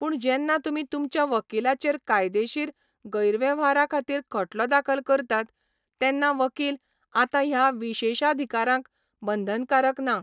पूण जेन्ना तुमी तुमच्या वकिलाचेर कायदेशीर गैरवेव्हारा खातीर खटलो दाखल करतात तेन्ना वकील आतां ह्या विशेषाधिकाराक बंधनकारक ना.